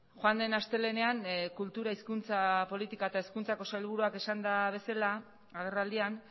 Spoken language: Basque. joan den astelehenean kultura hizkuntza politika eta hezkuntzako sailburuak esan duen bezala agerraldian